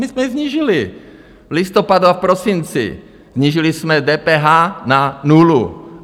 My jsme ji snížili v listopadu a v prosinci, snížili jsme DPH na nulu.